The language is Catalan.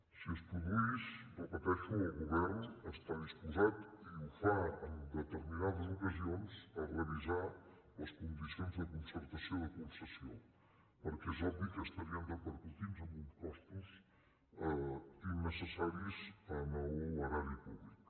si es produís ho repeteixo el govern està disposat i ho fa en determinades ocasions a revisar les condicions de concertació de concessió perquè és obvi que estarien repercutint amb uns costos innecessaris a l’erari públic